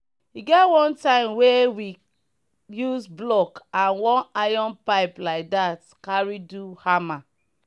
e get one time were we use block and one iron pipe like dat carry do harmmer